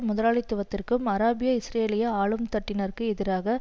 முதலாளித்துவத்திற்கும் அராபிய இஸ்ரேலிய ஆளும் தட்டினருக்கு எதிராக